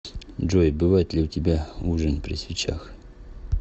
джой бывает ли у тебя ужин при свечах